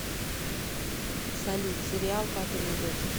салют сериал папины дочки